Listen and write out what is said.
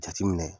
Jateminɛ